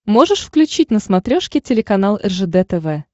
можешь включить на смотрешке телеканал ржд тв